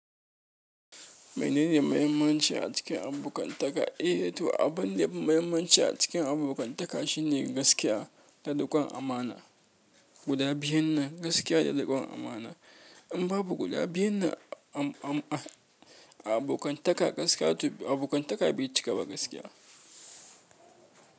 Menene muhimmanci a cikin abokantaka ehh to abunda yafi muhimmanci shine gaskiya da riƙon amana. Guda biyun na gaskiya da riƙon amana. In babu guda biyun nan a abokan taka gaska to, abokan taka bai cika ba gaskiya.